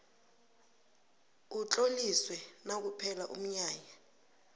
utloliswe nakuphela umnyanya